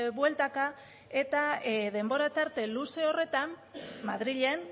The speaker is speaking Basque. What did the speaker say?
bueltaka eta denbora tarte luze horretan madrilen